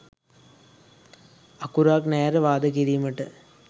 අකුරක් නෑර වාද කිරිමට